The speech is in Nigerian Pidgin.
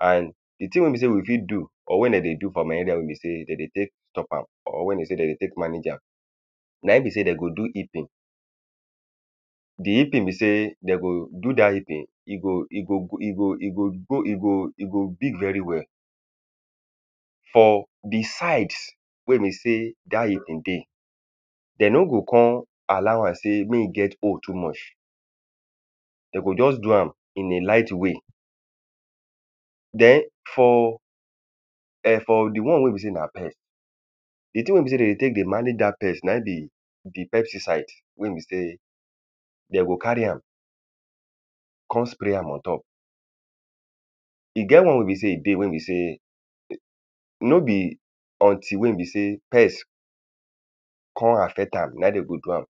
And the thing wey be sey we fit do or when dem dey do for my area wey be sey dem dey take stop am or wey dey sey dem dey take manage am, na im be sey dem go do heaping. The heaping be sey dem go do dat heaping e go e go e go e go go e go e go big very well for the side wey be sey dat heaping dey. De no go con allow am sey mey e get hole too much. De go just do am in a light way. Den for um for the one wey be sey na pest, the thing wey be sey de dey take dey manage dat pest na im be the pesticide wey be sey de go carry am con spray am on top. E get one wey be sey e dey. Wey be sey no be until wey be sey pest con affect am na im de go do am.